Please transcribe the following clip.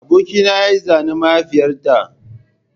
Abokina ya yi zanen mahaifiyata